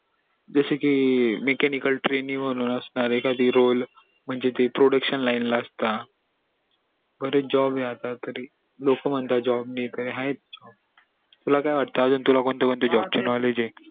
जस कि mechanical training असणार ये एखादा म्हणजे ते production line ला असता बरेच job ये आता लोक म्हणतात job नई तुला काय वाट तुला कोणते कोणते job चे knowledge ये